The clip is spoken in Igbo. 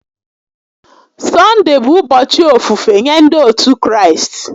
Sọnde bụ ụbọchị ofufe nye ndị otu Kraịst